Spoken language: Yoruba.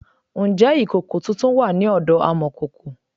Ǹjẹ́ ìkòkò tuntun wà ní ọ̀dọ amọ̀kòkò?